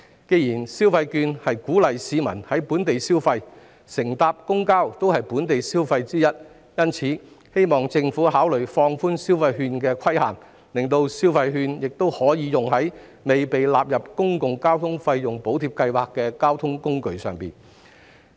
既然消費券是鼓勵市民在本地消費，而乘搭公交也是其中一種本地消費，因此，我希望政府考慮放寬消費券的限制，讓市民可在未被納入公共交通費用補貼計劃的交通工具上使用消費券。